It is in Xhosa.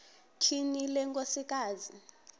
tyhini le nkosikazi